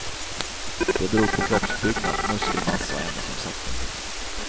Det beror på kroppsbyggnad, muskelmassa och ämnesomsättning.